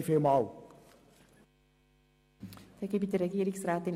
Ich kann mich kurz fassen.